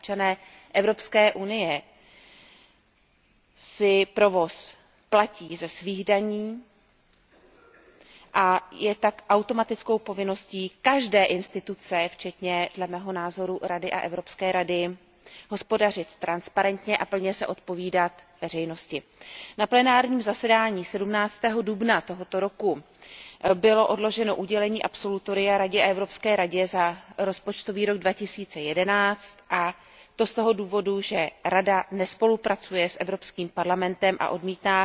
Občané Evropské unie si provoz platí ze svých daní a je tak automatickou povinností každého orgánu, včetně dle mého názoru Rady a Evropské rady, hospodařit transparentně a plně se zodpovídat veřejnosti. Na plenárním zasedání 17. dubna tohoto roku bylo odloženo udělení absolutoria Radě a Evropské radě za rozpočtový rok 2011 a to z toho důvodu, že Rada nespolupracuje s Evropským parlamentem a odmítá